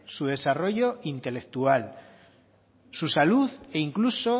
su desarrollo intelectual su salud e incluso